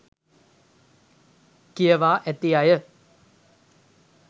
කියවා ඇති අය